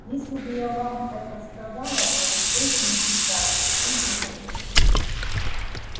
если бы я вам это сказала мой источник иссяк бы в ту же минуту